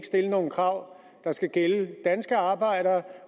stille nogle krav der skal gælde de danske arbejdere